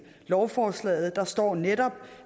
lovforslaget står der netop